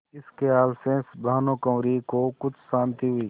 इस खयाल से भानुकुँवरि को कुछ शान्ति हुई